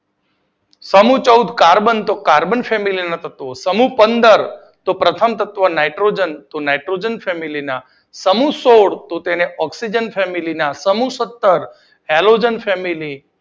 સમૂહ ચૌદ કાર્બન તો કાર્બન ફેમિલા ના સભ્યો, સમૂહ પંદર પ્રથમ સભ્ય નાઇટ્રોજન તો નાઇટ્રોજન ફેમિલા ના, સમૂહ સોળ તો તેને ઑક્સીજન ફેમિલી ના, સમૂહ સત્તર એલોજન ફેમિલી